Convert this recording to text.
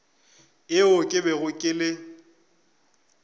yeo ke bego ke le